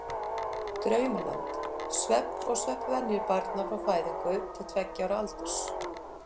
Draumaland: Svefn og svefnvenjur barna frá fæðingu til tveggja ára aldurs.